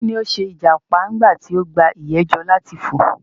Kí ni o ṣe ìjàpá nígbà tí o gba ìyè jọ láti fò?